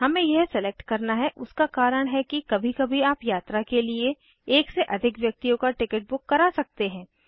हमें यह सलेक्ट करना है उसका कारण है कि कभी कभी आप यात्रा के लिए एक से अधिक व्यक्तियों का टिकिट बुक करा सकते हैं